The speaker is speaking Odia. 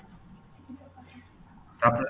ତା'ପରେ